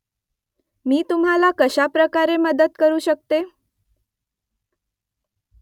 मी तुम्हाला कशाप्रकारे मदत करू शकते ?